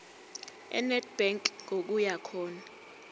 enedbank ngokuya khona